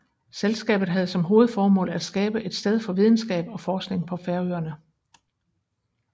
Selskabet havde som hovedformål at skabe et sted for videnskab og forskning på Færøerne